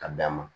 Ka dan ma